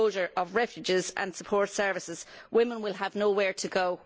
With the closure of refuges and support services, women will have nowhere to go.